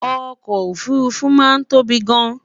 okò òfurufú máa ń tóbi gáàn